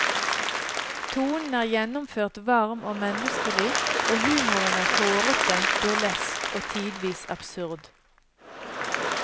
Tonen er gjennomført varm og menneskelig og humoren er hårete, burlesk og tidvis absurd.